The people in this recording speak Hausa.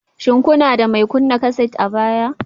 Shin kuna da mai kunna kaset a baya?